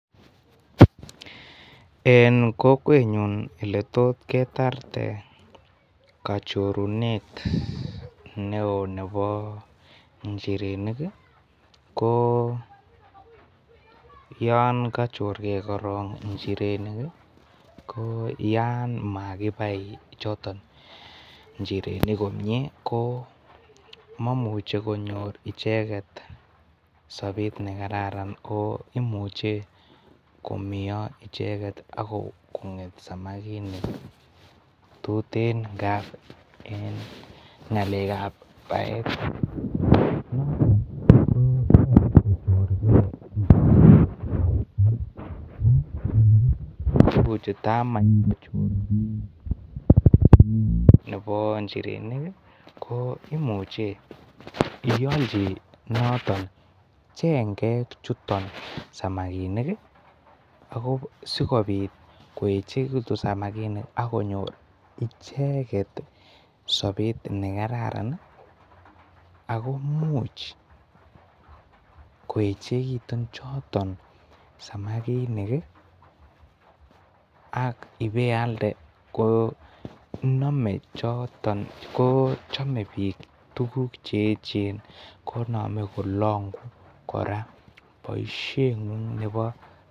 En Kokwenyun oletot ketaret kachorunet neo Bebo njirenik ko yon kachergei korong njirenik koyan makibai choton njirenik komnye ko momuche konyor icheget sopet nekararan oimuche komeo icheket ako konget samakinik tute ngab en ngalek gab baet KO toreti koribe samakinik netai njirenik imuche iyolji chengek chuton samakinik asikobit koechekitun samakinik akonyor icheket sopet nekararan akokimuch koechekitun choton samakinik ak ibeande ko Nome choton ko chome bik cheyechen konome kolongu kora boishet ngung